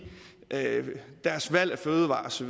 deres valg af fødevarer osv